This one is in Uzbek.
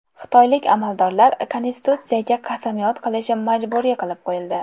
Xitoylik amaldorlar Konstitutsiyaga qasamyod qilishi majburiy qilib qo‘yildi.